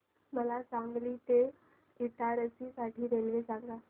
मला सांगली ते इटारसी साठी रेल्वे सांगा